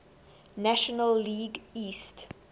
national league east